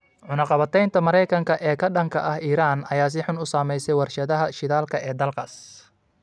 Cunaqabataynta Maraykanka ee ka dhanka ah Iran ayaa si xun u saamaysay warshadaha shidaalka ee dalkaas.